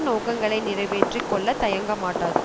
நோக்கங்களை நிறைவேற்றி கொள்ள தயங்க மாட்டாது